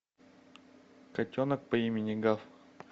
котенок по имени гав